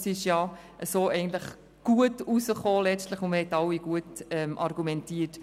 So ist es letztlich eigentlich gut herausgekommen, und wir alle haben gut argumentiert.